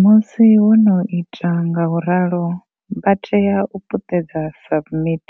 Musi vho no ita nga u ralo, vha tea u puṱedza SUBMIT.